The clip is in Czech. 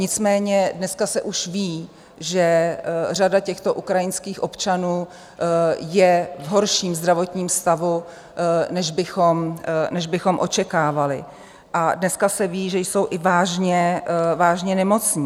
Nicméně dneska se už ví, že řada těchto ukrajinských občanů je v horším zdravotním stavu, než bychom očekávali, a dneska se ví, že jsou i vážně nemocní.